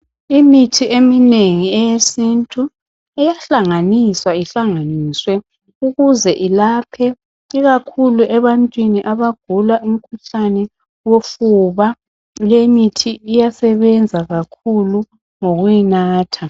Imithi eminengi eyesintu iyahlanganiswa ihlanganiswe ukuze ilaphe ikakhulu ebantwini abagula umkhuhlane wofuba lemithi iyasebenza kakhulu ngokuyi natha.